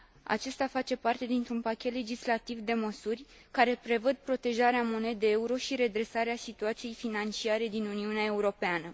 Acesta face parte dintr un pachet legislativ de măsuri care prevăd protejarea monedei euro și redresarea situației financiare din Uniunea Europeană.